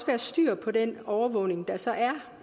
være styr på den overvågning der så er